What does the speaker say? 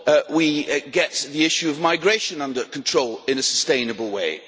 we get the issue of migration under control in a sustainable way.